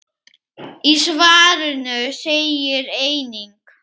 Í svarinu segir einnig